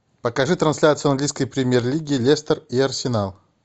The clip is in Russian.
покажи трансляцию английской премьер лиги лестер и арсенал